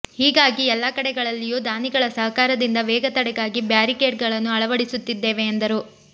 ಹೀಗಾಗಿ ಎಲ್ಲಾ ಕಡೆಗಳಲ್ಲಿಯೂ ದಾನಿಗಳ ಸಹಕಾರದಿಂದ ವೇಗ ತಡೆಗಾಗಿ ಬ್ಯಾರಿಕೇಡ್ಗಳನ್ನು ಅಳವಡಿಸುತ್ತಿದ್ದೇವೆ ಎಂದರು